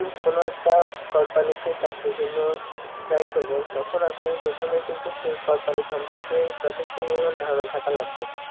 কোন একটা কোম্পানিতে চাকরির জন্য try করবেন তখন আপনি প্রথমে কিন্তু সেই কোম্পানি সম্পর্কে যথেষ্ট পরিমাণে ধারণা থাকা লাগবে